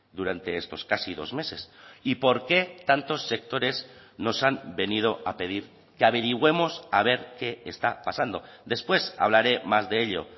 durante estos casi dos meses y por qué tantos sectores nos han venido a pedir que averigüemos a ver qué está pasando después hablaré más de ello